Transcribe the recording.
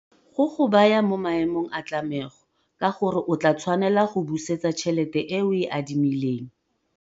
Go go baya mo maemong a tlamego ka gore o tlaa tshwanela go busetsa tšhelete e o e adimileng.